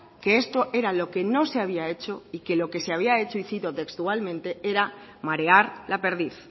que esto era lo que no se había hecho y que lo que se había hecho y cito textualmente era marear la perdiz